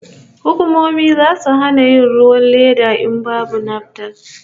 Hukumomi zasu hana yin ruwan leda in babu lambar NAFDAC